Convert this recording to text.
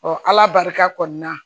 ala barika kɔni na